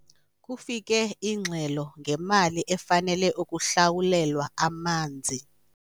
Kufike ingxelo ngemali efanele ukuhlawulelwa amanzi.